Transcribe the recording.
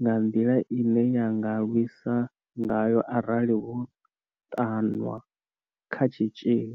nga nḓila ine ya nga lwisa ngayo arali vho ṱanwa kha tshitzhili.